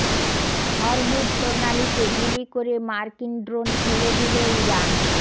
Hormuz প্রণালীতে গুলি করে মার্কিন ড্রোন ফেলে দিল ইরান